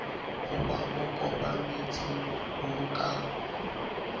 ho ba okametseng bo ka